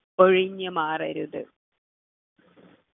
ഒഴിഞ്ഞുമാറരുത്